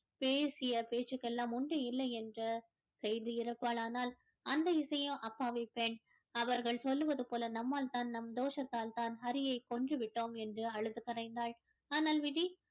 பேசிய பேச்சுக்கெல்லாம் உண்டு இல்லை என்று செய்து இருப்பாள் ஆனால் அந்த இசையோ அப்பாவிப் பெண் அவர்கள் சொல்லுவதுப் போல நம்மால் தான் நம் தோஷத்தால் தான் ஹரியை கொன்று விட்டோம் என்று அழுது கரைந்தாள் ஆனால் விதி